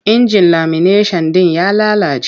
Injin lamineshan ɗin ya lalace.